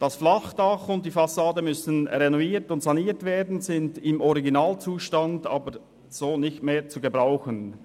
Das Flachdach und die Fassade müssen renoviert und saniert werden, sie sind im Originalzustand nicht mehr zu gebrauchen.